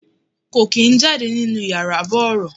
Kò kín ń jáde nínú yàrá bọ̀rọ̀.